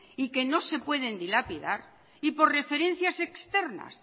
y que no se pueden dilapidar y por referencias externas